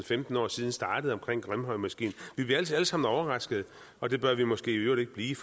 femten år siden startede omkring grimhøjmoskeen vi bliver altid alle sammen overraskede og det bør vi måske i øvrigt ikke blive